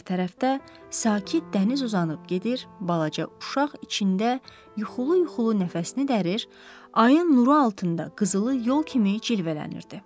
Digər tərəfdə sakit dəniz uzanıb gedir, balaca uşaq içində yuxulu-yuxulu nəfəsini dərir, ayın nuru altında qızılı yol kimi cilvələnirdi.